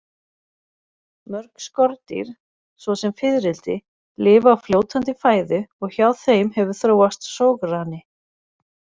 Mörg skordýr svo sem fiðrildi, lifa á fljótandi fæðu og hjá þeim hefur þróast sograni.